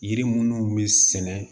Yiri munnu be sɛnɛ